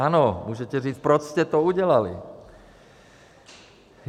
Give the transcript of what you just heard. Ano, můžete říct, proč jste to udělali?